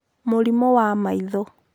Mũrimũ wa maitho.